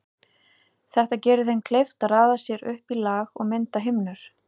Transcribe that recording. Þetta gerir þeim kleift að raða sér upp í lag og mynda himnur.